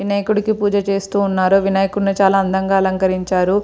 వినాయకుడికి పూజ చేస్తూ ఉన్నారు. వినాయకుడిని చాలా అందంగా అలంకరించారు.